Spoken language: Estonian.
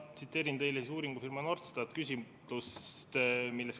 Ma tsiteerin teile uuringufirma Norstat küsitluse tulemust.